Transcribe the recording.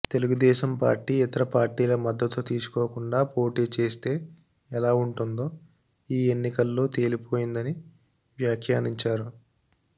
Telugu Desam party ఇతర పార్టీల మద్దతు తీసుకోకుండా పోటీ చేస్తే ఎలా ఉంటుందో ఈ ఎన్నికల్లో తేలిపోయిందని వ్యాఖ్యానించారు